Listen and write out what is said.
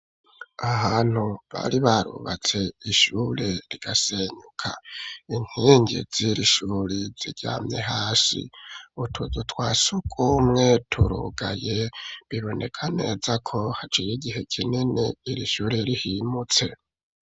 ahantu bari barubatse ishure rigasenyuka inkingi ziri shuri ziryamye hasi utuzu twasugumwe turugaye biboneka neza ko haciye igihe kinini iri shure rihimutse.